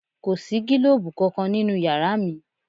Kò sí gílòbú kankan nínú yàrá mi